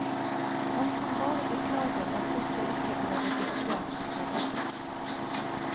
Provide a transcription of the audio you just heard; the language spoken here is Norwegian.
Han kan bare beklage at dette ikke ble registrert på forhånd.